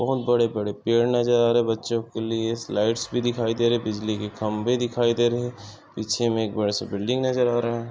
बहुत बड़े बड़े पेड़ नजर आ रहे। बच्चो के लिए स्लाइड्स भी दिखाई दे रहे। बिजली के खम्बे दिखाई दे रहे। पीछे मे एक बड़े से बिल्डिंग नजर आ रहा।